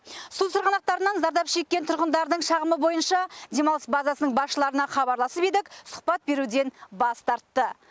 су сырғанақтарынан зардап шеккен тұрғындардың шағымы бойынша демалыс базасының басшыларына хабарласып едік сұхбат беруден бас тартты